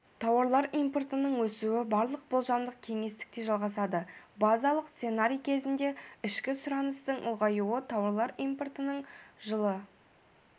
тауарлар импортының өсуі барлық болжамдық кеңістікте жалғасады базалық сценарий кезінде ішкі сұраныстың ұлғаюы тауарлар импортының жылы